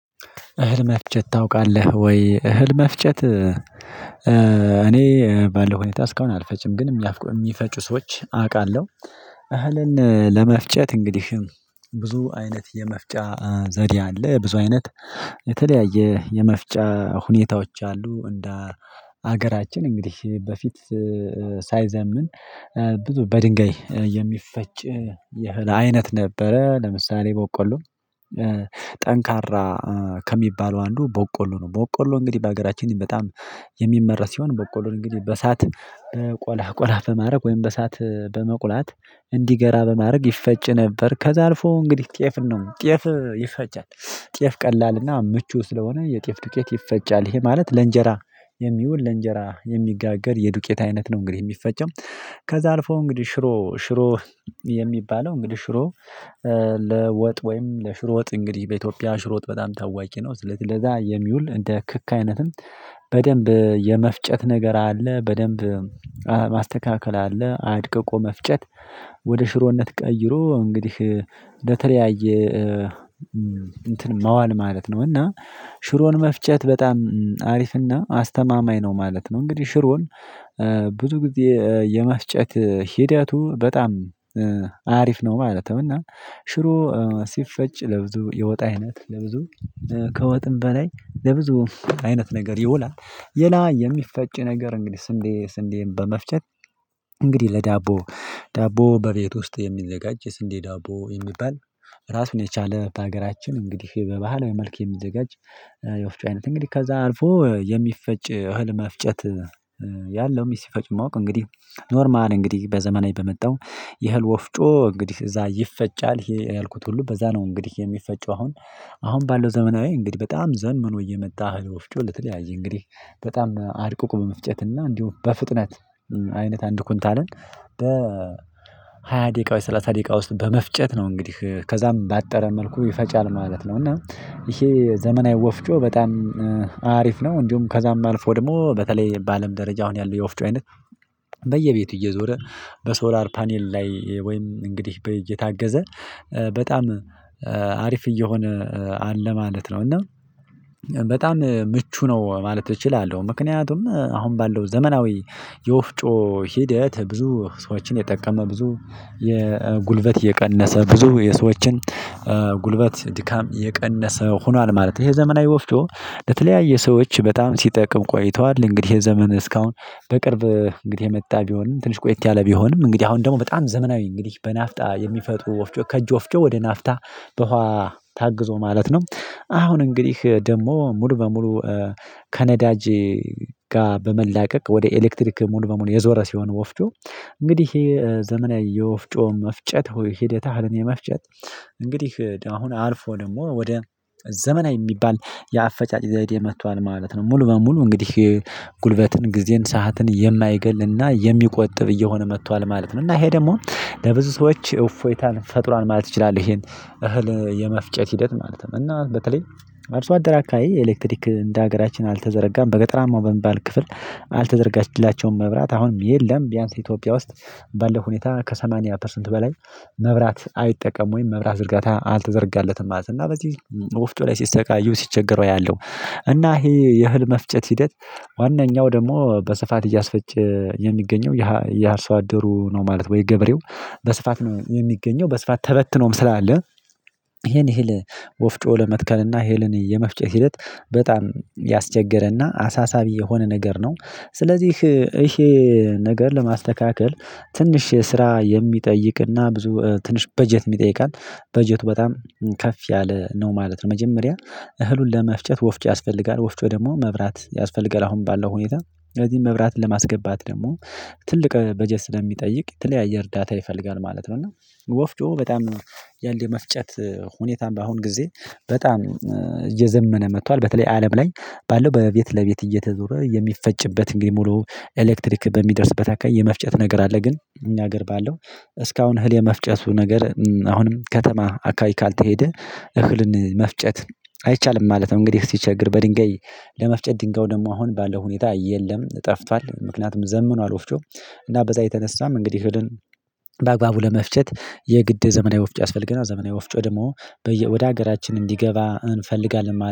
እህል መፍጨት ታውቃለህ ወይ? እህል መፍጨት እኔ ባለው ሁኔታ እስካሁን አልፈጭም ግን የሚፈጩ ሰዎች አውቃለሁ። እህልን ለመፍጨት እንግዲህ ብዙ አይነት የመፍጫ ዘዴ አለ ብዙ አይነት የተለያየ የመፍጫ ሁኔታዎች አሉ። እንደ ሀገራችን እንግዲህ በፊት ሳይዘምን ብዙ በድንጋይ የሚፈጭ የእህል አይነት ነበረ ለምሳሌ ቦቀሎ። ጠንካራ ከሚባለው አንዱ ቦቆሎ ነው ቦቆሎ እንግዲህ በሀገራችን በጣም የሚመራት ሲሆን በቆሎ እንግዲህ በእሳት ቆላ ቆላ በማድረግ ወይም በእሳት በመቁላት እንዲገራ በማድረግ ይፈጭ ነበር። ከዚያ አልፎ እንግዲህ ጤፍ ነው ጤፍ ይፈጫል ጤፍ ቀላልና ምቹ ስለሆነ የጤፍ ዱቄት ይፈጫል ይሄ ማለት ለእንጀራ የሚውል ለእንጀራ የሚጋገር የዱቄት አይነት ነው። እንግዲህ የሚፈጨው ከዛ አልፎ እንግዲህ ሽሮ ሽሮ የሚባለው እንግዲህ ሽሮ ለወጥ ወይም ለሽሮ ወጥ እንግዲህ በኢትዮጵያ ሽሮ ወጥ በጣም ታዋቂ ነው። ለዛ የሚውል እንደ ክክ አይነትም በደንብ የመፍጨት ነገር አለ በደንብ ማስተካከል አለ አድቅቆ መፍጨት ወደ ሽሮነት ቀይሮ እንግዲህ ለተለያየ እንትን መዋል ማለት ነው። እና ሽሮን መፍጨት በጣም አሪፍና አስተማማኝ ነው ማለት ነው። እንግዲህ ሽሮን ብዙ ጊዜ የመፍጨት ሂደቱ በጣም አሪፍ ነው ማለትም እና ሽሮ ሲፈጭ ለብዙ የወጥ አይነት ለብዙ ከወጥም በላይ ለብዙ አይነት ነገር ይውላል። ሌላ የሚፈጭ ነገር እንግዲህ ስንዴ ስንዴን በመፍጨት እንግዲህ ለዳቦ ዳቦ በቤት ውስጥ የሚዘጋጅ የስንዴ ዳቦ የሚባል። ራሱን የቻለ በሀገራችን እንግዲህ በባህላዊ መልክ የሚዘጋጅ የወፍጭ አይነት እንግዲህ ከዛ አልፎ የሚፈጭ ህልም መፍጨት ያለም ሲፈጭ ማወቅ እንግዲህ ኖርማል እንግዲህ በዘመናዊ በመጣው የእህል ወፍጮ እንግዲህ እዛ ይፈጫል ያልኩት ሁሉ በዛ ነው። እንግዲህ የሚፈጨው አሁን አሁን ባለው ዘመናዊ እንግዲህ በጣም ዘመኖ እየመጣ ወፍጮ ለተለያየ እንግዲህ በጣም አድቅቆ በመፍጨትና እንዲሁም በፍጥነት አይነት አንድ ኩንታልን በ ሃያ ሃያ ደቂቃ ወስጥ ሰላሳ ደቂቃ ውስጥ በመፍጨት ነው እንግዲህ ከዛም ባጠረ መልኩ ይፈጫል ማለት ነው። እና ይሄ ዘመናዊ ወፍጮ በጣም አሪፍ ነው። እንዲሁም ከዛም አልፎ ደግሞ በተለይ በአለም ደረጃ አሁን ያለው የወፍጮ አይነት በየቤቱ እየዞረ በሶላር ፓኒል ላይ ወይም እንግዲህ በ የታገዘ በጣም አሪፍ እየሆነ አለ ማለት ነው። እና በጣም ምቹ ነው ማለት እችላለሁ ምክንያቱም አሁን ባለው ዘመናዊ የወፍጮ ሂደት ብዙ ሰዎችን የጠቀመ ብዙ የጉልበት የቀነሰ ብዙ የሰዎችን ጉልበት ድካም የቀነሰ ሆኗል ማለት ነው። ይሄ ዘመናዊ ወፍጮ ለተለያየ ሰዎች በጣም ሲጠቅም ቆይተዋል እንግዲህ የዘመን እስካሁን በቅርብ እንግዲህ የመጣ ቢሆንም ትንሽ ቆይት ያለ ቢሆንም እንግዲህ አሁን ደግሞ በጣም ዘመናዊ እንግዲህ በናፍጣ የሚፈጥሩ ወፍጮ ከእጅ ወፍጮ ወደ ናፍታ በኋላ ታግዞ ማለት ነው። አሁን እንግዲህ ደግሞ ሙሉ በሙሉ ከነዳጅ ጋር በመላቀቅ ወደ ኤሌክትሪክ ሙሉ በሙሉ የዞረ ሲሆን ወፍጮ እንግዲህ ይሄ ዘመናዊ የወፍጮ መፍጨት ሆይ ሕደት እህልን የመፍጨት እንግዲህ አሁን አልፎ ደግሞ ወደ ዘመናዊ የሚባል የአፈጫጭ ዘዴ መጥቷል ማለት ነው። ሙሉ በሙሉ እንግዲህ ጉልበትን ጊዜን ሰዓትን የማይገልንና የሚቆጥብ እየሆነ መጥቷል ማለት ነው። እና ይሄ ደግሞ ለብዙ ሰዎች እፎይታን ፈጥሯን ማለት እችላለሁ ይሄን እህል የመፍጨት ሂደት ማለት ነው። እና በተለይ አርሶ አደር አካባቢ ኤሌክትሪክ እንደ ሀገራችን አልተዘረጋም በገጠራማው በምባል ክፍል አልተዘረጋላቸውም መብራት አሁንም የለም። ቢያንስ ኢትዮጵያ ውስጥ ባለው ሁኔታ ከሰማንያ ፐርሰንት በላይ መብራት አይጠቀም ወይም መብራት ዝርጋታ አልተዘርጋለትም ማለት ነው። እና በዚህ ወፍጮ ላይ ሲሰቃዩ ሲቸገረው ያለው እና ይሄ የህል መፍጨት ሂደት ዋናኛው ደግሞ በስፋት እያስፈጨ የሚገኘው የ አርሶ አደሩ ነው ማለት ወይ ገበሬው በስፋት ነው የሚገኘው በስፋት ተበትኖም ስላለ ይሄን እህል ወፍጮ ለመትከል እና እህልን የመፍጨት ሂደት በጣም ያስቸገረና አሳሳቢ የሆነ ነገር ነው። ስለዚህ ይሄ ነገር ለማስተካከል ትንሽ ስራ የሚጠይቅና ብዙ ትንሽ በጀት ይጠይቃል በጀቱ በጣም ከፍ ያለ ነው ማለት ነው። መጀመሪያ እህሉን ለመፍጨት ወፍጮ ያስፈልጋል ወፍጮው ደግሞ መብራት ያስፈልጋል አሁን ባለው ሁኔታ ስለዚህ መብራት ለማስገባት ደግሞ ትልቅ በጀት ስለሚጠይቅ የተለያየ እርዳታ ይፈልጋል ማለት ነው። እና ወፍጮ በጣም ያለ መፍጨት ሁኔታም በአሁን ጊዜ በጣም እየዘመነ መጥቷል። በተለይ አለም ላይ ባለው በቤት ለቤት እየተዞረ የሚፈጭበት እንግዲህ ሙሉ ኤሌክትሪክ በሚደርስበት አካባቢ የመፍጨት ነገር አለ ግን እኛ ሀገር ባለው እስካሁን እህል የመፍጨቱ ነገር አሁንም ከተማ አካባቢ ካልተሄደ እህልን መፍጨት አይቻልም ማለት ነው። እንግዲህ ሲቸገር በድንገጋይ ለመፍጨት ድንጋዩ ደግሞ አሁን ባለው ሁኔታ የለም ጠፍቷል። ምክንያቱም ዘምኗል ወፍጮ እና በዛ የተነሳም እንግዲህ እህልን በአግባቡ ለመፍጨት የግድ ዘመናዊ ወፍጭ ያስፈልገናል። ዘመናዊ ወፍጮ ደግሞ ወደ ሀገራችን እንዲገባ እንፈልጋለን ማለት ነው